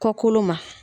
Kɔkolo ma